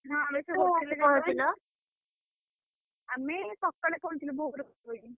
ହଁ ଆମେ ସବୁ ଆମେ ସକାଳେ ପହଁଞ୍ଚିଲୁ ଭୋରୁ ।